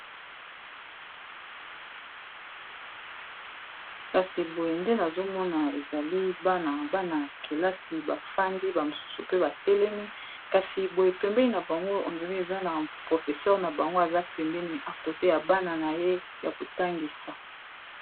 kasi boye nde nazomona ezali bana ya bana ya kelasi bafandi bamosusu pe batelemi kasi boye pembeni na bango andrays eza na professeur na bango aza pembene akote ya bana na ye ya kotangisa